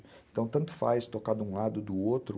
Então tanto faz tocar de um lado ou do outro.